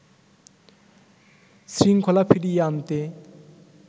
শৃঙ্খলা ফিরিয়ে আনতে